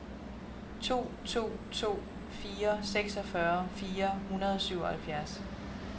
to to to fire seksogfyrre fire hundrede og syvoghalvfjerds